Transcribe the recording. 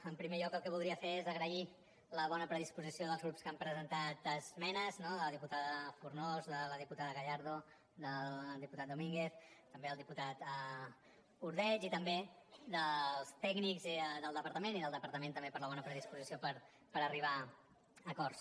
en primer lloc el que voldria fer és agrair la bona predisposició dels grups que han presentat esmenes no de la diputada fornós de la diputada gallardo del diputat domínguez també el diputat ordeig i també dels tècnics del departament i del departament també per la bona predisposició per arribar a acords